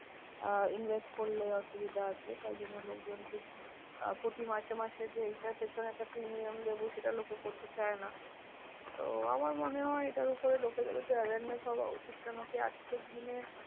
আহ invest করলে অসুবিধা আছে। তাই জন্য লোকজনকে আহ প্রতি মাসে মাসে যে এইটার পেছনে একটা premium দেব, সেটা লোকে করতে চায় না। তো আমার মনে হয় এটার উপরে লোকেরও একটু awareness হওয়া উচিত। কেনোকি আজকের দিনে